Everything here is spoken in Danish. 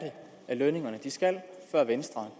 lønningerne skal før venstre